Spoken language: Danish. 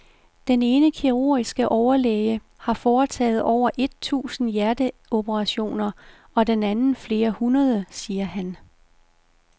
Den ene kirurgiske overlæge har foretaget over et tusind hjerteoperationer og den anden flere hundrede, siger han.